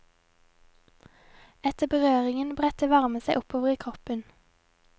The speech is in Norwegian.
Etter berøringen bredte varmen seg oppover i kroppen.